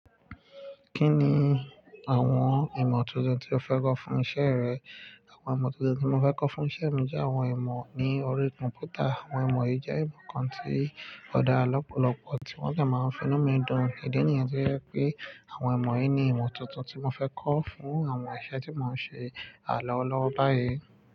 Kí ni àwọn ìmọ̀ tuntun tí o fẹ́ kọ́ fún isẹ́ rẹ? Àwọn ìmọ̀ tuntun tí mo fẹ́ kọ́ fún isẹ́ mi jẹ́ àwọn ìmọ̀ ní orí kọ̀m̀pútà. Àwọn ìmọ̀ yìí jẹ́ ìmọ̀ kan tí ó dá lọ́pọ̀lọpọ̀ tí wọ́n sí máa ń fi inú mi dùn. Ìdí nìyẹn tí ó jẹ́ pé àwọn ìmọ̀ yìí ni ìmọ̀ tuntun tí mo fẹ́ kọ́ fún àwọn iṣẹ́ tí mò ń ṣe à lọ́wo lọ́wọ́ báyìí.